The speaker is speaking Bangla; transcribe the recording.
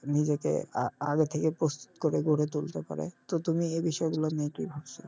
নিজেকে আ~আগে থেকে প্রস্তুত করে গড়ে তুলতে পারে তো তুমি এই বিষয় গুলো নিয়ে কী ভাবছো?